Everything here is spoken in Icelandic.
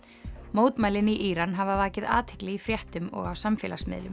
mótmælin í Íran hafa vakið athygli í fréttum og á samfélagsmiðlum